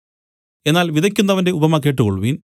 എന്നാൽ വിതയ്ക്കുന്നവന്റെ ഉപമ കേട്ടുകൊൾവിൻ